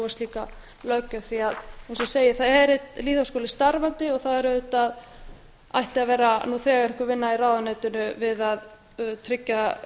slíka löggjöf því að eins og ég segi er einn lýðháskóli starfandi og það ætti auðvitað nú þegar að vera einhver vinna í ráðuneytinu við að tryggja